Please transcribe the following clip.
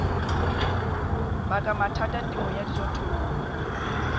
baka mathata temong ya dijothollo